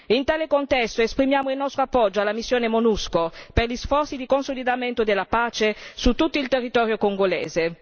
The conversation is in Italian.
In tale contesto, esprimiamo il nostro appoggio alla missione MONUSCO per gli sforzi di consolidamento della pace su tutto il territorio congolese.